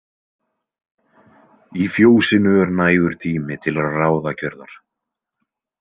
Í fjósinu er nægur tími til ráðagjörðar.